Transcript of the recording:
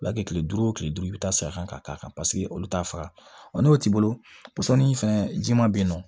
U b'a kɛ kile duuru kile duuru i bɛ taa sa ka k'a kan paseke olu t'a faga n'o t'i bolo sɔni fɛn ji ma be yen nɔ